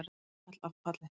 Stigapall af palli.